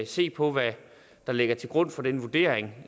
se på hvad der ligger til grund for den vurdering